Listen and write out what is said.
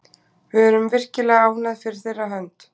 Við erum virkilega ánægð fyrir þeirra hönd.